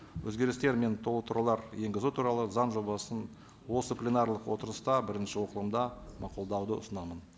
өзгерістер мен толықтырулар енгізу туралы заң жобасын осы пленарлық отырыста бірінші оқылымда мақұлдауды ұсынамын